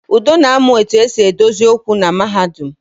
Udo na-amu etu e si edozi okwu na mahadum